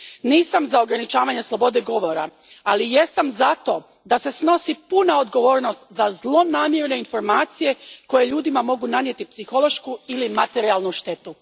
Nisam za ograničavanje slobode govora, ali jesam za to da se snosi puna odgovornost za zlonamjerne informacije koje ljudima mogu nanijeti psihološku ili materijalnu štetu.